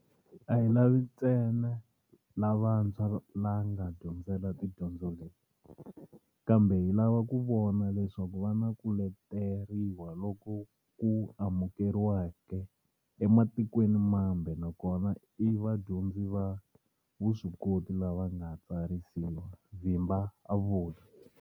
A hi lavi ntsena lavatshwa la nga dyondzela tidyondzo leti, kambe hi lava ku vona leswaku va na ku leteriwa loku ku amukeriwaka ematikwenimambe na kona i vadyondzi va vuswikoti lava nga tsarisiwa, Vimba a vula.